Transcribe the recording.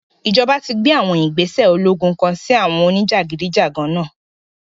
Ijọba ti gbe àwọn igbese ologun kan si àwọn onijagidijagan náa